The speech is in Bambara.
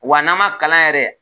Wa n'an man kalan yɛrɛ